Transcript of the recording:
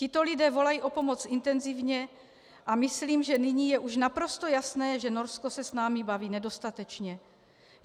Tito lidé volají o pomoc intenzivně a myslím, že nyní je už naprosto jasné, že Norsko se s námi baví nedostatečně.